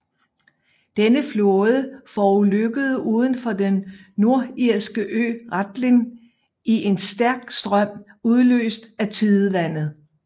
Denne flåde forulykkede udenfor den nordirske ø Rathlin i en stærk strøm udløst af tidevandet